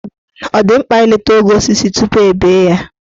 Ọ dị mkpa ileta ogo osisi tupu e bee ya?